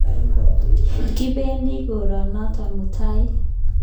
Kipendi koronotok mutai